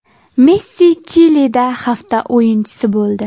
Messi ChLda hafta o‘yinchisi bo‘ldi.